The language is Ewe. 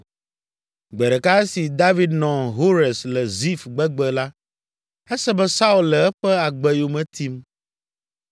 Gbe ɖeka esi David nɔ Hores le Zif gbegbe la, ese be Saul le eƒe agbe yome tim.